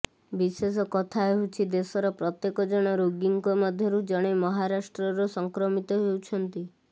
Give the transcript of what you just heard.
ବିଶେଷ କଥା ହେଉଛି ଦେଶର ପ୍ରତ୍ୟେକ ଜଣ ରୋଗୀଙ୍କ ମଧ୍ୟରୁ ଜଣେ ମହାରାଷ୍ଟ୍ରର ସଂକ୍ରମିତ ହେଉଛନ୍ତି